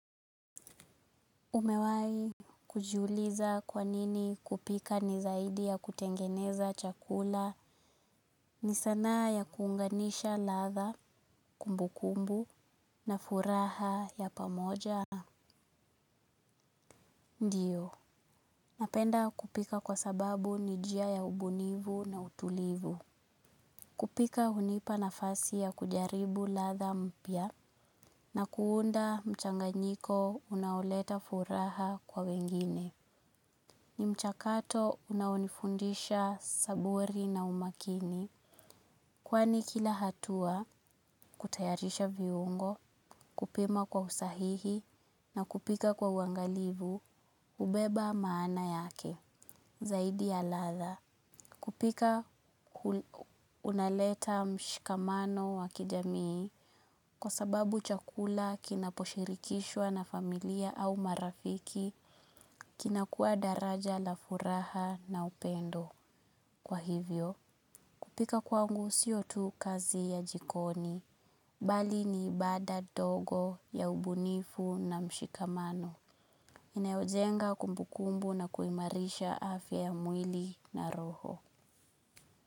Umewahi kujiuliza kwa nini kupika ni zaidi ya kutengeneza chakula? Ni sanaa ya kuunganisha ladha, kumbu kumbu na furaha ya pamoja. Ndio. Napenda kupika kwa sababu ni njia ya ubunifu na utulivu. Kupika hunipa nafasi ya kujaribu ladha mpya na kuunda mchanganyiko unaoleta furaha kwa wengine. Ni mchakato unaonifundisha saburi na umakini kwani kila hatua kutayarisha viungo, kupima kwa usahihi na kupika kwa uangalivu hubeba maana yake zaidi ya ladha. Kupika unaleta mshikamano wa kijamii kwa sababu chakula kinaposhirikishwa na familia au marafiki kinakuwa daraja la furaha na upendo. Kwa hivyo, kupika kwangu sio tu kazi ya jikoni, bali ni ibada ndogo ya ubunifu na mshikamano. Inayojenga kumbukumbu na kuimarisha afya ya mwili na roho.